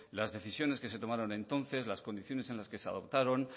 las decisiones que se tomaron entonces las condiciones en las que se adoptaron